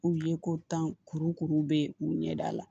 U ye ko tan kuru kuru bɛ k'u ɲɛda la